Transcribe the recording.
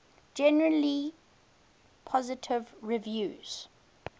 generally positive reviews